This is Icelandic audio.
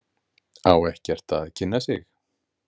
Á ekkert að kynna sig?